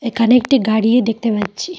এখানে একটি গাড়ি দেখতে পাচ্ছি।